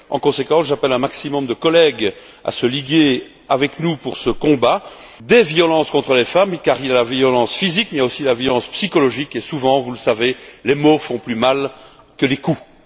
En conséquence, j'appelle un maximum de collègues à se liguer avec nous pour ce combat des violences contre les femmes, car il y a la violence physique, mais aussi la violence psychologique et, souvent, vous le savez, les mots font plus mal que les coups.